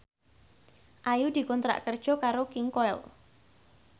Ayu dikontrak kerja karo King Koil